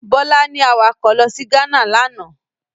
Bọlá ní awakọ̀ lọ sí Ghana lánàá.